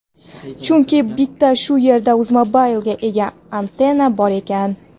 chunki bitta shu yerda uzmobile ga antenna bor ekan.